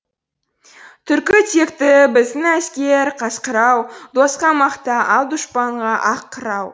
түркі текті біздің әскер қасқыр ау досқа мақта ал дұшпанға ақ қырау